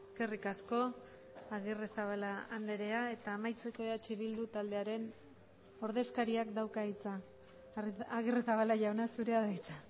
eskerrik asko agirrezabala andrea eta amaitzeko eh bildu taldearen ordezkariak dauka hitza agirrezabala jauna zurea da hitza